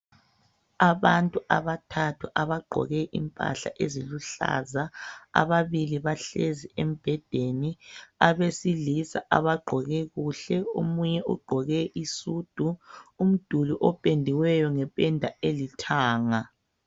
Abantu abathathu abagqoke impahla eziluhlaza ababili bahlezi embedeni abesilisa abagqoke kuhle omunye ugqoke isudu umduli opendiweyo ngependa elithanga